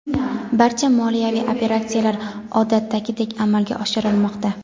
barcha moliyaviy operatsiyalar odatdagidek amalga oshirilmoqda.